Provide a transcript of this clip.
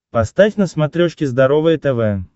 поставь на смотрешке здоровое тв